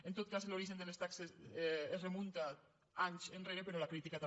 en tot cas l’origen de les taxes es remunta a anys enrere però la crítica també